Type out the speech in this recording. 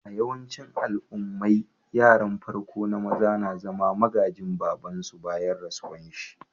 A'yawancin al'ummai, yaran farko na maza na zama magajin baba'n su bayan rasuwan shi.